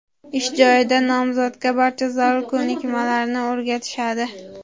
Ish joyida nomzodga barcha zarur ko‘nikmalarni o‘rgatishadi.